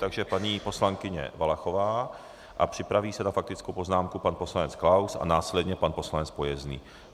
Takže paní poslankyně Valachová a připraví se na faktickou poznámku pan poslanec Klaus a následně pan poslanec Pojezdný.